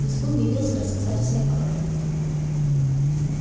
визгун явился рассказать всем об этом